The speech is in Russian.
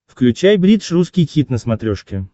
включай бридж русский хит на смотрешке